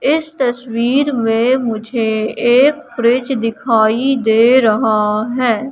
इस तस्वीर में मुझे एक फ्रिज दिखाई दे रहा है।